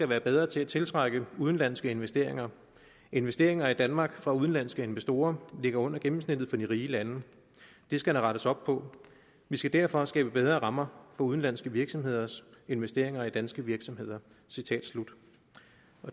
være bedre til at tiltrække udenlandske investeringer investeringer i danmark fra udenlandske investorer ligger under gennemsnittet for de rige lande det skal der rettes op på vi skal derfor skabe bedre rammer for udenlandske virksomheders investeringer i danske virksomheder